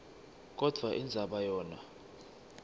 kodvwa indzaba yona